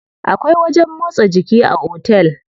Akwai wajen motsa jiki a otel.